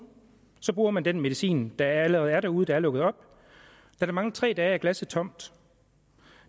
så bruger man den medicin der allerede er derude og er lukket op da der mangler tre dage er glasset tomt